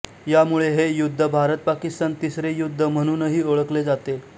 यामुळे हे युद्ध भारतपाकिस्तान तिसरे युद्ध म्हणूनही ओळखले जाते